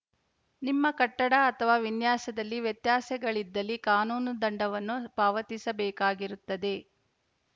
ನಿಮ್ಮ ಕಟ್ಟಡ ಅಥವಾ ವಿನ್ಯಾಸದಲ್ಲಿ ವ್ಯತ್ಯಾಸಗಳಿದ್ದಲ್ಲಿ ಕಾನೂನು ದಂಡವನ್ನು ಪಾವತಿಸಬೇಕಾಗಿರುತ್ತದೆ